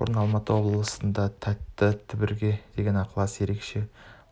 бұрын алматы облысында тәтті түбірге деген ықылас ерекше